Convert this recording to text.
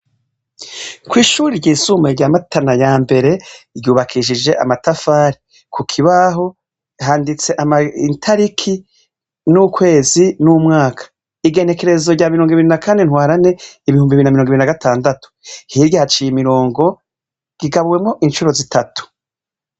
Kw'ishuri ryisumbuye rya Matana ya mbere ryubakishije amatafari, ku kibaho handitse itariki n'ukwezi n'umwaka. Igenekerezo rya mirongo ibiri na kane ntwarante ibihumbi bibiri na mirongo ibiri na gatandatu. Hirya haciye imirongo rigabuwemo inshuro zitatu.